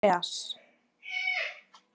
Andreas